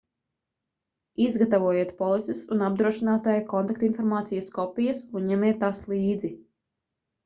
izgatavojiet polises un apdrošinātāja kontaktinformācijas kopijas un ņemiet tās līdzi